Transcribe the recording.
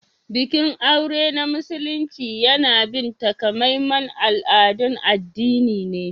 Bikin aure na Musulunci yana bin takamaiman al'adun addini ne.